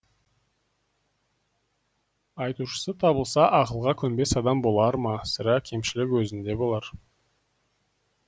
айтушысы табылса ақылға көнбес адам болар ма сірә кемшілік өзінде болар